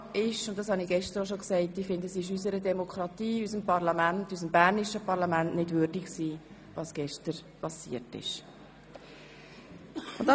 Klar ist, was ich gestern schon sagte: Ich finde, es ist unserer Demokratie und unseres bernischen Parlaments nicht würdig, was gestern geschah.